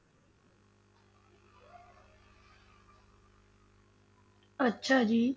ਅੱਛਾ ਜੀ।